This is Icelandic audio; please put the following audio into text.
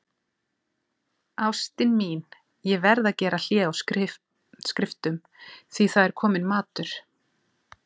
Ástin mín, ég verð að gera hlé á skriftum, því það er kominn matur.